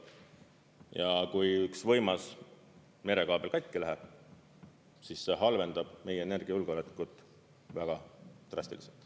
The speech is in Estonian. Ja kui üks võimas merekaabel katki läheb, siis see halvendab meie energiajulgeolekut väga drastiliselt.